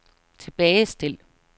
tilbagestil